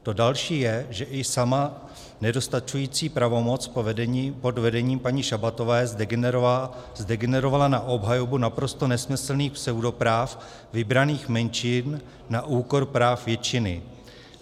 To další je, že i sama nedostačující pravomoc pod vedením paní Šabatové zdegenerovala na obhajobu naprosto nesmyslných pseudopráv vybraných menšin na úkor práv většiny.